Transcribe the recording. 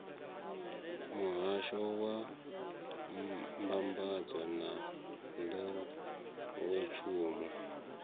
muhahsho wa mbambadzo na nḓowetshumo